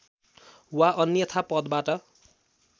वा अन्‍यथा पदबाट